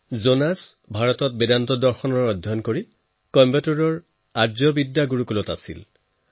জোনাছে ভাৰতত বেদান্ত দৰ্শনক লৈ অধ্যয়ন কৰে আৰু চাৰি বছৰলৈকে কইম্বাটুৰৰ আৰ্শ বিদ্যা গুৰুকুলামত থাকে